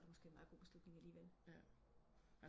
Nu er det måske en meget god beslutning alligevel